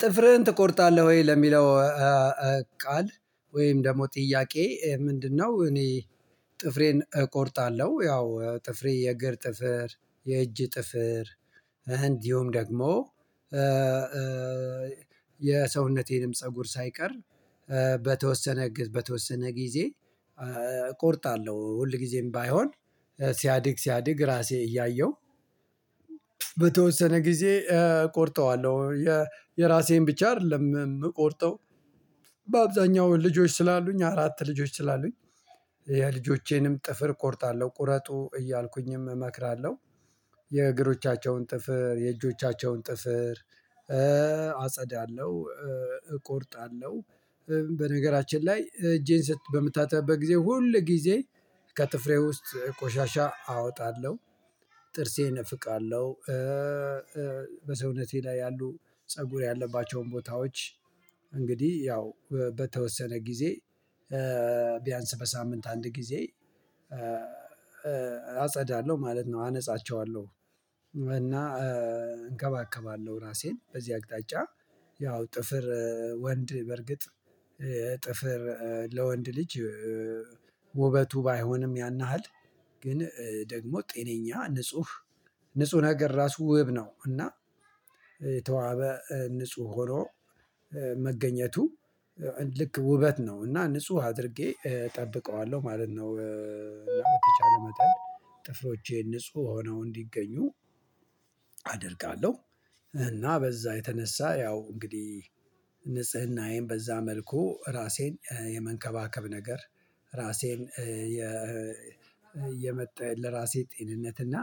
ጥፍርህን ትቆርጣለህ ወይ ለሚለው ቃል ወይም ደግሞ ጥያቄ ምንድነው? እኔ ጥፍሬን እቆርጣለሁ ያው ጥፍሬ የእግር ጥፍር የእጅ ጥፍር እንዲሁም ደግሞ የሰውነቴንም ፀጉር ሳይቀር በተወሰነ ጊዜ እቆርጣለሁ ሁል ጊዜም ባይሆን ሲያድግ ሲያድግ ራሴ እያየሁ በተወሰነ ጊዜ እቆርጠዋለሁ። የራሴን ብቻ አይደለም የምቆርጠው በአብዛኛው ልጆች ስላሉኝ አራት ልጆች ስላሉኝ የልጆቼንም ጥፍር እቆርጣለሁ ቁረጡ እያልኩኝም እመክራለሁ። የእግሮቻቸውን ጥፍር የእጆቻቸውን ጥፍር አጸዳለሁ እቆርጣለሁ በነገራችን ላይ እጄን በምታጠብበት ጊዜ ሁልጊዜ ከጥፍሬ ውስጥ ቆሻሻ አወጣለሁ። ጥርሴ እፍቃለሁ። በሰውነቴ ላይ ያሉ ፀጉር ያለባቸውን ቦታዎች እንግዲህ ያው በተወሰነ ጊዜ ቢያንስ በሳምንት አንድ ጊዜ አጸዳለሁ ማለት ነው አነጻቸዋለሁ። እና እንከባከባለሁ ራሴን በዚህ አቅጣጫ። ያው ጥፍር ወንድ በእርግጥ ጥፍር ለወንድ ልጅ ውበቱ ባይሆንም ያን ያህል ግን ደግሞ ጤነኛ ንጹህ ንጹህ ነገር ራሱ ውብ ነው። እና የተዋበ ንጹህ ሆኖ መገኘቱ ልክ ውበት ነው እና ንጹህ አድርጌ እጠብቀዋለሁ ማለት ነው። ለመተቻለ መጠን ጥፍሮቼ ንጹህ ሆነው እንዲገኙ አደርጋለሁ። እና በዛ የተነሳ ያው እንግዲህ ንጽህናዬን በዛ መልኩ ራሴን የመንከባከብ ነገር። ራሴን የመጣ ለራሴ ጤንነት እና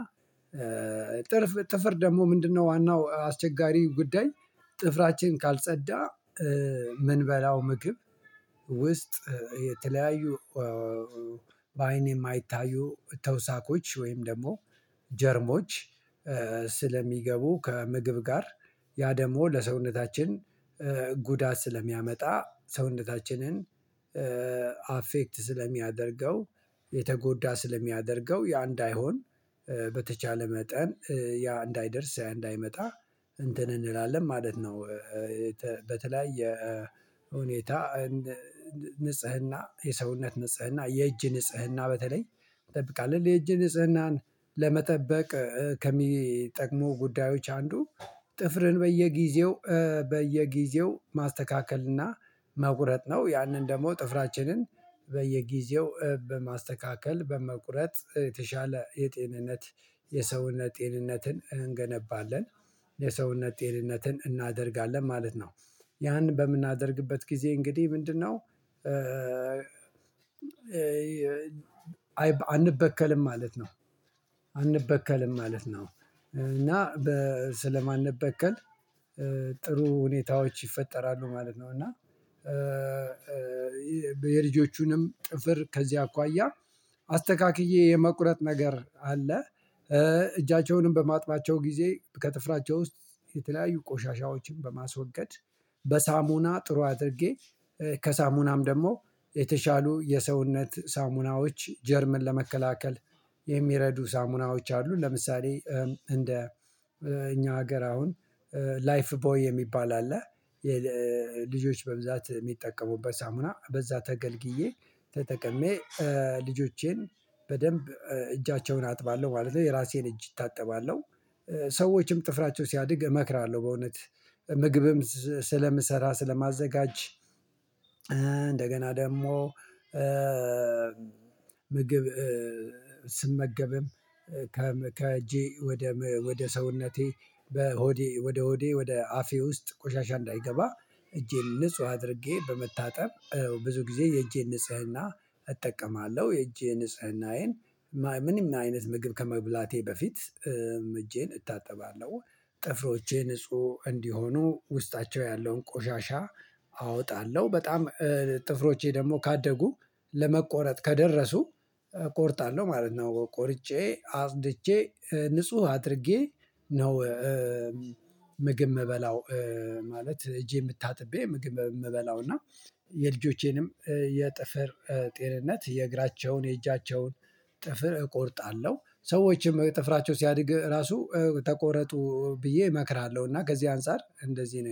ጥርፍ ጥፍር ደግሞ ምንድነው ዋናው አስቸጋሪ ጉዳይ? ጥፍራችን ካልጸዳ የምንበላው ምግብ ውስጥ የተለያዩ በአይኔ የማይታዩ ተውሳኮች ወይም ደግሞ ጀርሞች ስለሚገቡ ከምግብ ጋር ያ ደግሞ ለሰውነታችን ጉዳት ስለሚያመጣ ሰውነታችንን አፌክት ስለሚያደርገው የተጎዳ ስለሚያደርገው ያ እንዳይሆን በተቻለ መጠን ያ እንዳይደርስ ያ እንዳይመጣ እንትን እንላለን ማለት ነው። በተለያየ ሁኔታ ንጽህና የሰውነት ንጽህና የእጅ ንጽህና በተለይ እጠብቃለሁ የእጅ ንጽህናን ለመጠበቅ ከሚጠቅሙ ጉዳዮች አንዱ ጥፍርን በየጊዜው በየጊዜው ማስተካከልና መቁረጥ ነው። ያንን ደግሞ ጥፍራችንን በየጊዜው በማስተካከል በመቁረጥ የተሻለ የጤንነት የሰውነት ጤንነትን እንገነባለን የሰውነት ጤንነትን እናደርጋለን ማለት ነው። ያንን በምናደርግበት ጊዜ እንግዲህ ምንድነው አንበከልም ማለት ነው። አንበከልም ማለት ነው። እና ስለማንበከል ጥሩ ሁኔታዎች ይፈጠራሉ ማለት ነው። እና የልጆቹንም ጥፍር ከዚህ አኳያ አስተካክዬ የመቁረጥ ነገር አለ። እጃቸውንም በማጥባቸው ጊዜ ከጥፍራቸው ውስጥ የተለያዩ ቆሻሻዎችን በማስወገድ በሳሙና ጥሩ አድርጌ ከሳሙናም ደግሞ የተሻሉ የሰውነት ሳሙናዎች ጀርምን ለመከላከል የሚረዱ ሳሙናዎች አሉ ለምሳሌ እንደ እኛ ሀገር አሁን ላይፍቦይ የሚባል አለ። የልጆች በብዛት የሚጠቀሙበት ሳሙና በዛ ተገልግዬ ተጠቅሜ ልጆቼን በደንብ እጃቸውን አጥባለሁ ማለት ነው። የራሴን እጅ እታጠባለሁ። ሰዎችም ጥፍራቸው ሲያድግ እመክራለሁ በእውነት ምግብም ስለምሰራ ስለማዘጋጅ። እንደገና ደግሞ ምግብ ስመገብም ከእጄ ወደ ሰውነቴ በሆዴ ወደ ሆዴ ወደ አፌ ውስጥ ቆሻሻ እንዳይገባ እጄን ንጹህ አድርጌ በመታጠብ ብዙ ጊዜ የእጄ ንጽህና እጠቀማለሁ። የእጄ ንጽህናዬን ምንም አይነት ምግብ ከመብላቴ በፊት እጄን እታጠባለሁ። ጥፍሮቼ ንጹህ እንዲሆኑ ውስጣቸው ያለውን ቆሻሻ አወጣለሁ በጣም ጥፍሮቼ ደግሞ ካደጉ ለመቆረጥ ከደረሱ እቆርጣለሁ ማለት ነው። ቆርጬ አጽድቼ ንጹህ አድርጌ ነው ምግብ የምበላው ማለት እጄን ታጥቤ ምግብ የምበላው እና የልጆቼንም የጥፍር ጤንነት የእግራቸውን የእጃቸውን ጥፍር እቆርጣለሁ። ሰዎችም ጥፍራቸው ሲያድግ ራሱ ተቆረጡ ብዬ እመክራለሁ እና ከዚህ አንፃር እንደዚህ ነው